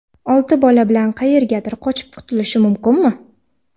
Olti bola bilan qayergadir qochib qutulishi mumkinmi?